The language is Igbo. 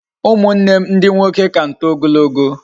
Umunnem ndi nwoke ka m too ogologo